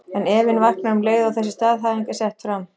En efinn vaknar um leið og þessi staðhæfing er sett fram.